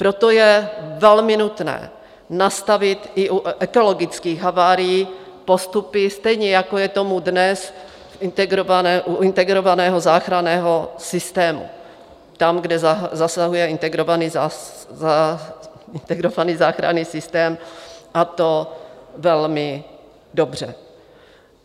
Proto je velmi nutné nastavit i u ekologických havárií postupy, stejně jako je tomu dnes u integrovaného záchranného systému tam, kde zasahuje integrovaný záchranný systém, a to velmi dobře.